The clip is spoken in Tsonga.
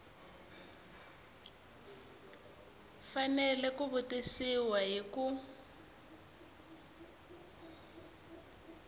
fanele ku tivisiwa hi ku